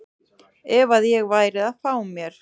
ef að ég væri að fá mér.